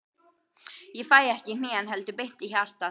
Ég fæ ekki í hnén, heldur beint í hjartað.